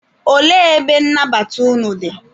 Olee ebe nnabata unu dị?